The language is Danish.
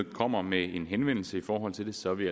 kommer med en henvendelse i forhold til det så er vi